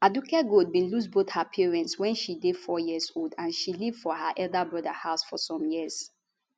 aduke gold bin lose both her parents wen she dey four years old and she live for her elder broda house for some years